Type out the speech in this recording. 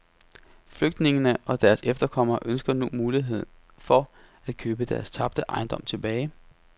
Flygtningene og deres efterkommere ønsker nu mulighed for at købe deres tabte ejendom tilbage.